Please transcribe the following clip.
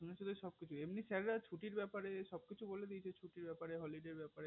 শুনেছো তো সবই এমনিতেও sir রা ছুটিরএর ব্যাপারে সব কিছু বলে দিয়েছে ছুটিরএর ব্যাপারে holiday এর ব্যাপারে